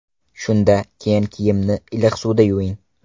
Shunda keyin kiyimni iliq suvda yuving.